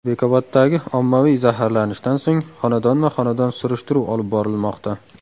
Bekoboddagi ommaviy zaharlanishdan so‘ng, xonadonma-xonadon surishtiruv olib borilmoqda.